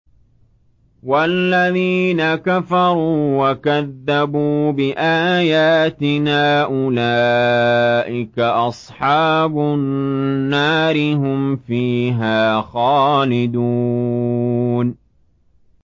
وَالَّذِينَ كَفَرُوا وَكَذَّبُوا بِآيَاتِنَا أُولَٰئِكَ أَصْحَابُ النَّارِ ۖ هُمْ فِيهَا خَالِدُونَ